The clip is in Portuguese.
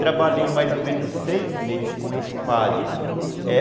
Trabalhei mais ou menos uns seis meses com esse padre, é